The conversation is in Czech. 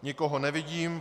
Nikoho nevidím.